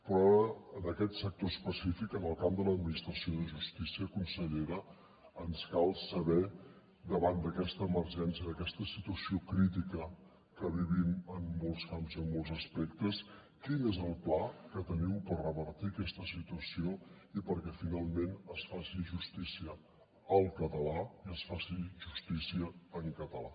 però ara en aquest sector específic en el camp de l’administració de justícia consellera ens cal saber davant d’aquesta emergència d’aquesta situació crítica que vivim en molts camps i en molts aspectes quin és el pla que teniu per revertir aquesta situació i perquè finalment es faci justícia al català i es faci justícia en català